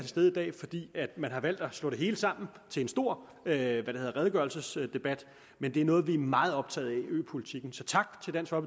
stede i dag fordi man har valgt at slå det hele sammen til en stor redegørelsesdebat men det er noget vi er meget optaget af altså øpolitikken så tak